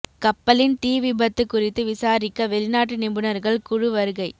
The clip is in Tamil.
கப்பலின் தீ விபத்து குறித்து விசாரிக்க வெளிநாட்டு நிபுணர்கள் குழு வருகை